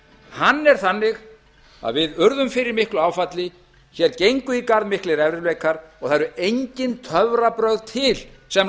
hann er þannig að við urðum fyrir miklu áfalli hér gengu í garð miklir erfiðleikar og það eru engin töfrabrögð til sem